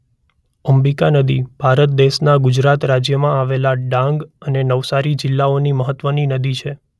અંબિકા નદી ભારત દેશના ગુજરાત રાજ્યમાં આવેલા ડાંગ અને નવસારી જિલ્લાઓની મહત્વની નદી છે.